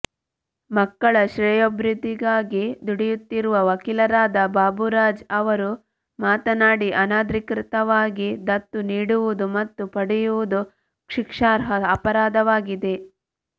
ಮಕ್ಕಳ ಶ್ರೇಯೋಭಿವೃದ್ಧಿಗಾಗಿ ದುಡಿಯುತ್ತಿರುವ ವಕೀಲರಾದ ಬಾಬುರಾಜ್ ಅವರು ಮಾತನಾಡಿ ಅನಧಿಕೃತವಾಗಿ ದತ್ತು ನೀಡುವುದು ಮತ್ತು ಪಡೆಯುವುದು ಶಿಕ್ಷಾರ್ಹ ಅಪರಾಧವಾಗಿದೆ